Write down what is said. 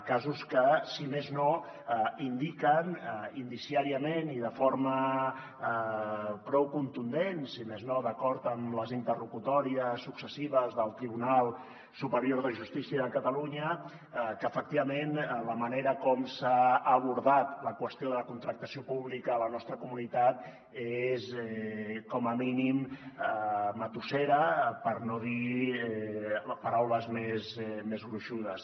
casos que si més no indiquen indiciàriament i de forma prou contundent si més no d’acord amb les interlocutòries successives del tribunal superior de justícia de catalunya que efectivament la manera com s’ha abordat la qüestió de la contractació pública a la nostra comunitat és com a mínim matussera per no dir paraules més gruixudes